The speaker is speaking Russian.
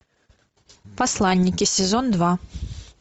посланники сезон два